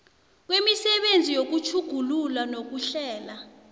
kwemisebenzi yokutjhugulula nokuhlela